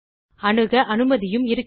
அணுக அனுமதியும் இருக்கிறது